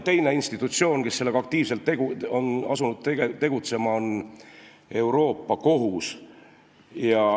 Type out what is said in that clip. Teine institutsioon, kes on asunud aktiivselt sellega tegutsema, on Euroopa Kohus.